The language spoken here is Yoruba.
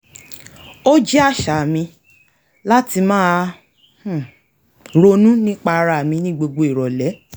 o jẹ́ àṣà mi láti máa um ronú nípa ara mi ní gbogbo ìrọ̀lẹ́